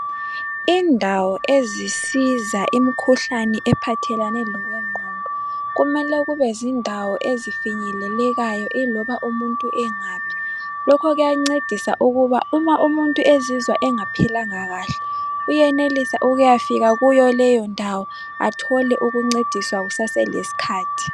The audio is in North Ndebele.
Indawo ezisiza imikhuhlane ephathelane lokwe ngqondo kumele kube zindawo ezifinyelelekayo iloba umuntu engaphi. Lokhu kuyancedisa ukuba uma umuntu uma ezizwa engaphilanga kahle uyenelisa ukuya fika kuyo leyo ndawo athole ukuncediswa kusase lesikhathi